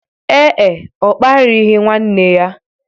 Ee e, ọ kparịghị nwanne ya.